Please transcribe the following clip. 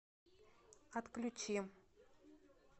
отключи